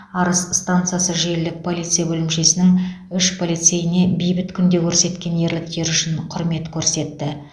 арыс стансасы желілік полиция бөлімшесінің үш полицейіне бейбіт күнде көрсеткен ерліктері үшін құрмет көрсетті